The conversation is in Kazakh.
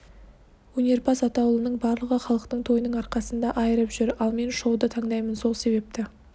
өнерпаз атаулының барлығы халықтың тойының арқасында айырып жүр ал мен шоуды таңдаймын сол себепті